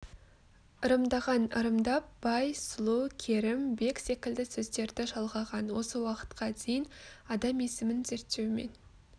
ырымдаған ырымдап бай сұлу керім бек секілді сөздерді жалғаған осы уақытқа дейін адам есімін зерттеумен